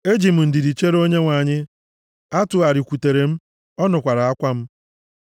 Eji m ndidi chere Onyenwe anyị, ọ tụgharịkwutere m, ọ nụkwaara akwa m.